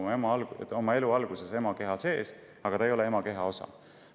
Tõsi, ta kasvab oma elu alguses oma ema keha sees, aga ta ei ole ema keha osa.